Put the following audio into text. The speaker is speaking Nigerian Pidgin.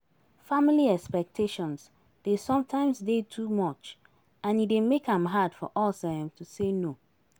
Family expectations dey sometimes dey too much and e dey make am hard for us um to say no.